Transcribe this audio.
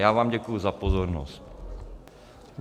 Já vám děkuji za pozornost.